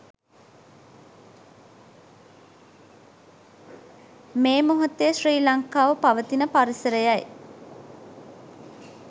මේ මොහොතේ ශ්‍රී ලංකාව පවතින පරිසරයයි.